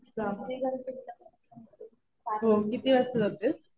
जा. हो. किती वाजता जातेस.